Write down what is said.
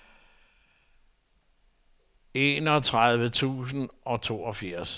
enogtredive tusind og toogfirs